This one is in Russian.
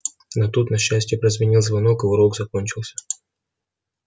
но тут на счастье прозвенел звонок и урок закончился